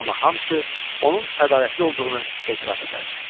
Amma hamısı onun ədalətli olduğunu etiraf edərdi.